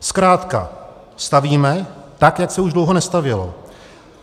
Zkrátka stavíme tak, jak se už dlouho nestavělo.